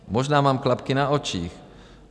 Možná mám klapky na očích.